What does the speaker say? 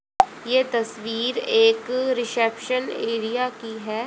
ये तस्वीर एक रिसेप्शन एरिया की है।